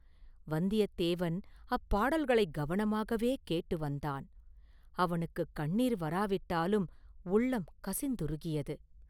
வந்தியத்தேவன் அப்பாடல்களைக் கவனமாகவே கேட்டு வந்தான்.அவனுக்குக் கண்ணீர் வராவிட்டாலும் உள்ளம் கசிந்துருகியது.